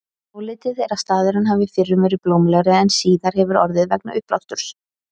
Álitið er að staðurinn hafi fyrrum verið blómlegri en síðar hefur orðið vegna uppblásturs.